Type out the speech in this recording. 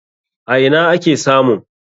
A ina ake samun?